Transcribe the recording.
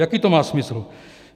Jaký to má smysl?